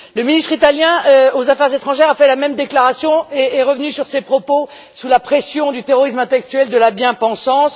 Le ministre italien des affaires étrangères a fait la même déclaration et est revenu sur ses propos sous la pression du terrorisme intellectuel de la bien pensance.